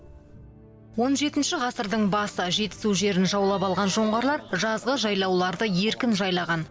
он жетінші ғасырдың басы жетісу жерін жаулап алған жоңғарлар жазғы жайлауларды еркін жайлаған